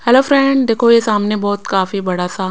hello friend देखो ये सामने बहुत काफी बड़ा सा--